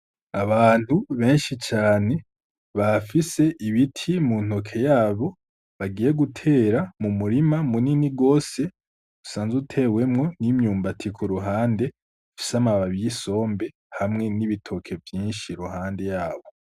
Abantu benshi cane, bafise ibiti mu ntoke yabo bagiye gutera mumurima munini gose usanze utewemwo n'imyumbati kuruhande ifise amababi y'isombe hamwe n'ibitoke vyinshi iruhande yabo.